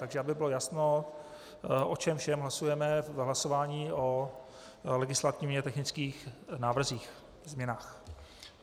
Tak aby bylo jasno, o čem všem hlasujeme v hlasování o legislativně technických návrzích, změnách.